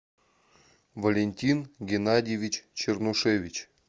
валентин геннадьевич чернушевич